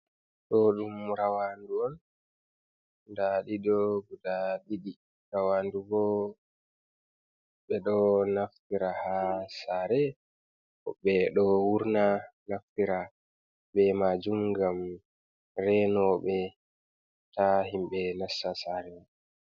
Ɗo ɗum rawandu on nda ɗiɗo guda ɗiɗi. Rawandu bo ɓe ɗo naftira ha sare, ɓeɗo wurna naftira be majum ngam renoɓe ta himɓe nasta sare.